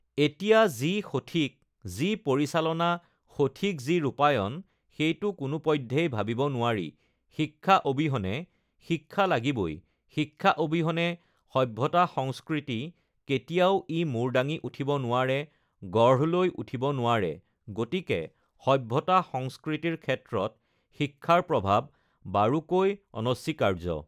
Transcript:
এতিয়া যি সঠিক যি পৰিচালনা সঠিক যি ৰূপায়ণ সেইটো কোনো পধ্যেই ভাবিব নোৱাৰি শিক্ষা অবিহনে শিক্ষা লাগিবই শিক্ষা অবিহনে সভ্যতা সংস্কৃতি কেতিয়াও ই মূৰ দাঙি উঠিব নোৱাৰে গঢ় লৈ উঠিব নোৱাৰে গতিকে সভ্যতা সংস্কৃতিৰ ক্ষেত্ৰত শিক্ষাৰ প্ৰভাৱ বাৰুকৈ অনস্বীকাৰ্য